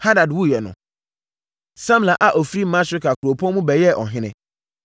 Hadad wuiɛ no, Samla a ɔfiri Masreka kuropɔn mu bɛyɛɛ ɔhene.